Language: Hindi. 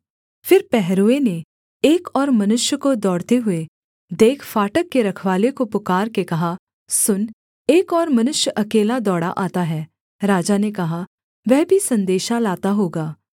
फिर पहरुए ने एक और मनुष्य को दौड़ते हुए देख फाटक के रखवाले को पुकारके कहा सुन एक और मनुष्य अकेला दौड़ा आता है राजा ने कहा वह भी सन्देशा लाता होगा